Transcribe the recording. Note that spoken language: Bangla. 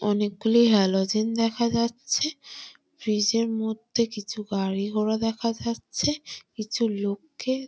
অনেকগুলি হ্যালোজিন দেখা যাচ্ছে । ব্রিজের -এর মধ্যে কিছু গাড়িঘোড়া দেখা যাচ্ছে । কিছু লোককে--